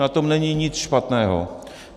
Na tom není nic špatného.